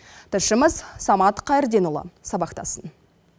тілшіміз самат қайырденұлы сабақтасын